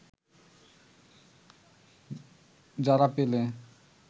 যারা পেলে